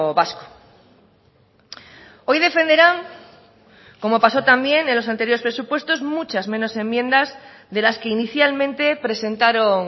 vasco hoy defenderán como pasó también en los anteriores presupuestos muchas menos enmiendas de las que inicialmente presentaron